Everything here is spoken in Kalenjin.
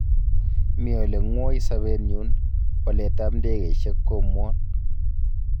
Mii ele ngwoi sobenyun, boolet ab ndegeisiek komuuon.